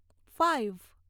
five